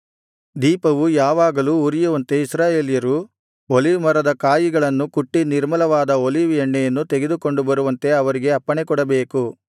ದೀಪವು ಯಾವಾಗಲೂ ಉರಿಯುವಂತೆ ಇಸ್ರಾಯೇಲ್ಯರು ಒಲಿವ್ ಮರದ ಕಾಯಿಗಳನ್ನು ಕುಟ್ಟಿ ನಿರ್ಮಲವಾದ ಒಲಿವ್ ಎಣ್ಣೆಯನ್ನು ತೆಗೆದುಕೊಂಡು ಬರುವಂತೆ ಅವರಿಗೆ ಅಪ್ಪಣೆಕೊಡಬೇಕು